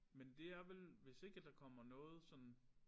Men det er vel hvis ikke der kommer noget sådan